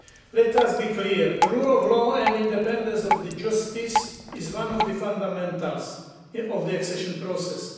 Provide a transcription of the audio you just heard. Let us be clear the rule of law and the independence of the judiciary is one of the fundamentals of the accession process.